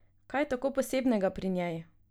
Kaj je tako posebnega pri njej?